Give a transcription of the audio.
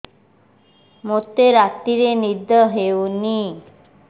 ମୋତେ ରାତିରେ ନିଦ ହେଉନି